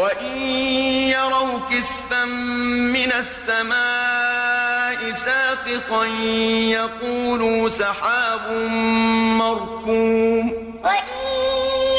وَإِن يَرَوْا كِسْفًا مِّنَ السَّمَاءِ سَاقِطًا يَقُولُوا سَحَابٌ مَّرْكُومٌ وَإِن